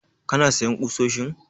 Kana sayan ƙusoshin?